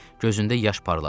Gözündə yaş parladı.